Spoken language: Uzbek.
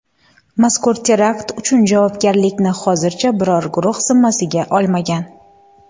Mazkur terakt uchun javobgarlikni hozircha biror guruh zimmasiga olmagan.